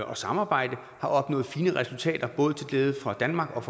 og samarbejde har opnået fine resultater både til glæde for danmark